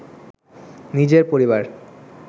নিজের পরিবার